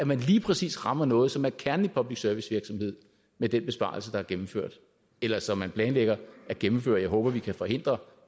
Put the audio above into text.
man lige præcis rammer noget som er kernen i public service virksomhed med den besparelse der er gennemført eller som man planlægger at gennemføre jeg håber at vi kan forhindre